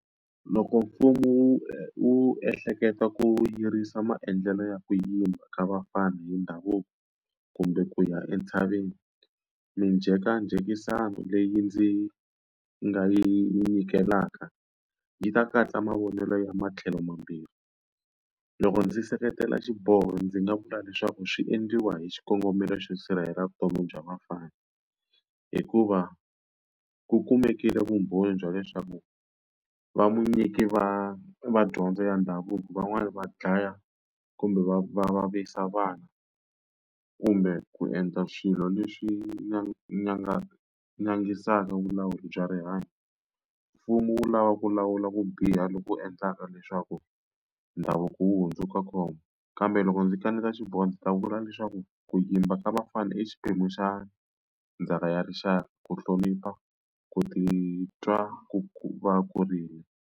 Loko mfumo wu wu ehleketa ku yirisa maendlelo ya ku yimba ka vafana hi ndhavuko kumbe ku ya entshaveni, minjhekanjhekisano leyi ndzi nga yi nyikelaka yi ta katsa mavonelo ya matlhelo mambirhi. Loko ndzi seketela xiboho ndzi nga vula leswaku swi endliwa hi xikongomelo xo sirhelela vutomi bya vafana, hikuva ku kumekile vumbhoni bya leswaku va munyiki va va dyondzo ya ndhavuko van'wani va dlaya kumbe va va vavisa vana, kumbe ku endla swilo leswi vulawuri bya rihanyo. Mfumo wu lava ku lawula ku biha loku endlaka leswaku ndhavuko wu hundzuka khombo. Kambe loko ndzi kaneta xiboho ndzi ta vula leswaku ku yimba ka vafana i xiphemu xa ndzhaka ya rixaka, ku hlonipha, ku titwa ku va kurile.